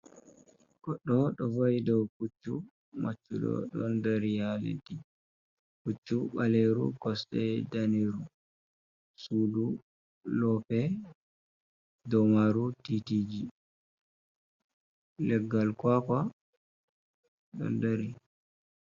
Goɗɗo ɗo va'i ɗow puccu. Maccuɗo ɗon ɗari ha leɗɗim. Puccu ɓaleru, kosɗe ɗaniru. Suɗu loope, ɗow maru titiji. Leggal kawaka ɗon ɗari.